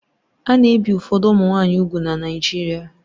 A na-ebi ụfọdụ ụmụ nwanyị úgwù na Naijiria